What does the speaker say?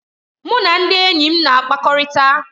Mụ na ndị enyi m na-akpakọrịta.